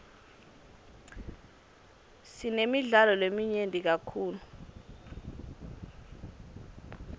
sinemidlalo leminyenti kakhulu